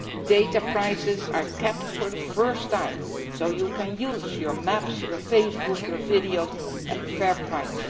year. Data prices are kept for the first time so that you can use your maps, Facebook and videos at a fair